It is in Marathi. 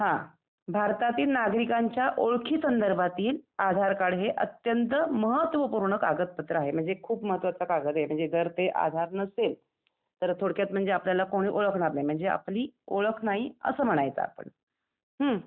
हं भारतातील नागरिकांच्या ओळखी संदर्भातील आधार कार्ड हे अत्यंत महत्व पूर्ण कागदपत्र आहे म्हणजे खूप महत्वाचा कागद आहे, म्हणजे जर का ते आधार नसेल तर थोडक्यात म्हणजे आपल्याला कोणी ओळखणार नाही म्हणजे आपली ओळख नाही असं म्हणायचं आपण. हम्म ?